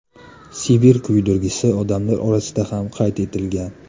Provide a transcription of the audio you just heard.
Sibir kuydirgisi odamlar orasida ham qayd etilgan.